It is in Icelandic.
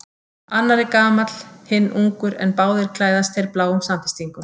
Annar er gamall, hinn ungur en báðir klæðast þeir bláum samfestingum.